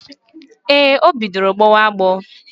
Ee, o bidoro gbọwa agbọ